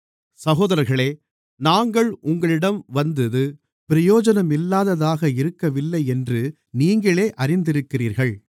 சகோதரர்களே நாங்கள் உங்களிடம் வந்தது பிரயோஜனமில்லாததாக இருக்கவில்லையென்று நீங்களே அறிந்திருக்கிறீர்கள்